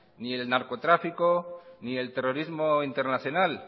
ni el narcotráfico ni el terrorismo internacional